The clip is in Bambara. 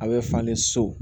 A bɛ falen so